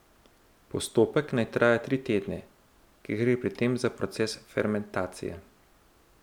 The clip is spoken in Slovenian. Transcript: Postopek naj traja tri tedne, ker gre pri tem za proces fermentacije.